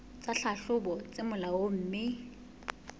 tsa tlhahlobo tse molaong mme